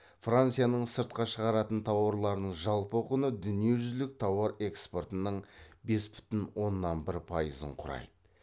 францияның сыртқа шығаратын тауарларының жалпы құны дүниежүзілік тауар экспортының бес бүтін оннан бір пайызын құрайды